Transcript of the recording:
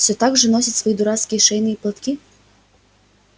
все так же носит свои дурацкие шейные платки